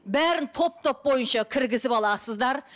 бәрін топ топ бойынша кіргізіп аласыздар